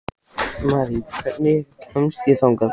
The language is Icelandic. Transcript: Marí, hvernig kemst ég þangað?